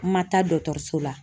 N ma taa so la